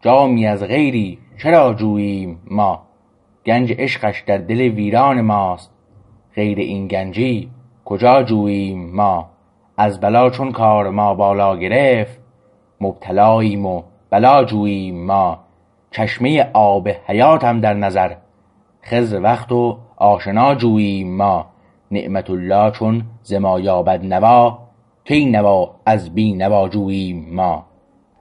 جامی از غیری چرا جوییم ما گنج عشقش در دل ویران ماست غیر این گنجی کجا جوییم ما از بلا چون کار ما بالا گرفت مبتلاییم و بلا جوییم ما چشمه آب حیاتم در نظر خضر وقت و آشنا جوییم ما نعمت الله چون ز ما یابد نوا کی نوا از بینوا جوییم ما